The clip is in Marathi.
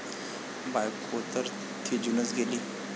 बायकोतर थिजूनच गेली.